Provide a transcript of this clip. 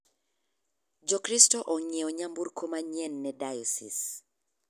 Jo kristo ong'iewo nyamburko manyien ne diosis.